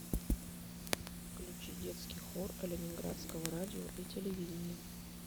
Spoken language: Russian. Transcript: включи детский хор ленинградского радио и телевидения